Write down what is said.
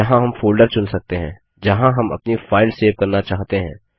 यहाँ हम फोल्डर चुन सकते हैं जहाँ हम अपनी फाइल सेव करना चाहते हैं